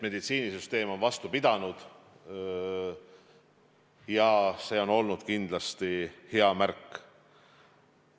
Meditsiinisüsteem on vastu pidanud ja see on olnud kindlasti hea märk.